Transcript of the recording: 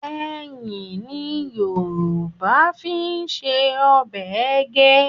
Ẹyìn ni Yorùbá fi ń se ọbẹ̀ ẹgẹ́